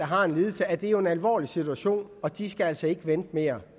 har en lidelse er det jo en alvorlig situation og de skal altså ikke vente mere